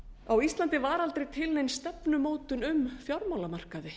á íslandi var aldrei til nein stefnumótun um fjármálamarkaði